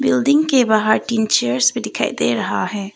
Building के बाहर तीन चेयर्स भी दिखाई दे रहा है।